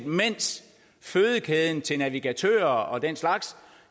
mens fødekæden til navigatører og den slags